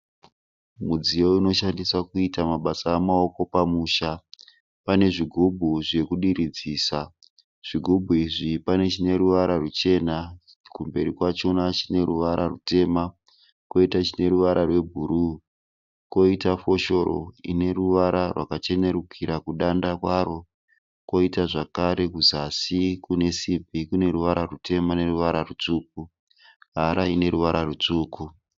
Mudziyo unoshandiswa kuita mabasa emaoko pamusha. Pane zvigubhu zvekudiridzisa. Zvigubhu izvi pane chine ruvara ruchena kumberi kwachona chine ruvara rutema. Koita chine ruvara rwebhuru. Koita foshoro ine ruvara rwachenerukira kudanda kwaro koita zvakare kuzasi kune simbi kuneruvara rutema neruvara rutsvuku. Hara ine ruvara rutsvuku.